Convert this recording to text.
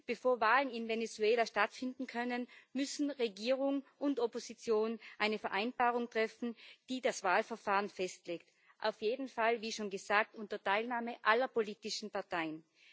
Bevor Wahlen in Venezuela stattfinden können, müssen Regierung und Opposition eine Vereinbarung treffen, die das Wahlverfahren festlegt, auf jeden Fall wie schon gesagt unter Teilnahme aller politischen Parteien.